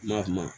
Ma